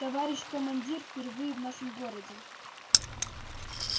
товарищ командир впервые в нашем городе